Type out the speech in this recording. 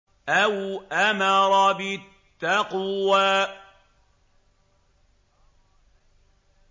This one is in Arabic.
أَوْ أَمَرَ بِالتَّقْوَىٰ